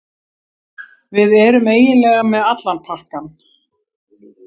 Við erum eiginlega með allan pakkann